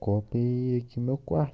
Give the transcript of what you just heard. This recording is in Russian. копии кино класс